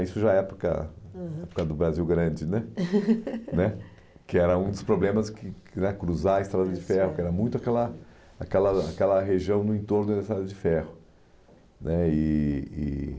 Isso já é época aham do Brasil Grande né né que era um dos problemas que, cruzar a estrada de ferro, que era muito aquela aquela aquela região no entorno da estrada de ferro né e e